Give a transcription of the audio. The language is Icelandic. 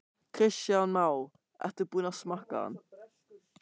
Kristján Már: Ertu búinn að smakka hann?